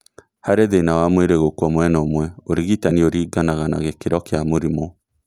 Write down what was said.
Hari thĩna wa mwĩrĩ gũkua mwena ũmwe, ũrigitani ũringanaga na gĩkĩro kĩa mũrimũ